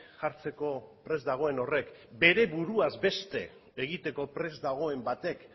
jartzeko prest dagoen horrek bere buruaz beste egiteko prest dagoen batek